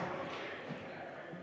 Istungi lõpp kell 21.41.